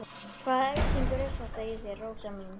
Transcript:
Hvaða æsingur er þetta í þér, Rósa mín?